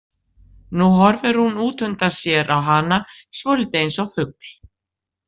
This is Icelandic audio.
Nú horfir hún útundan sér á hana, svolítið eins og fugl.